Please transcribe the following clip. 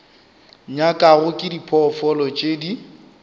nyakwago ke diphoofolo tše di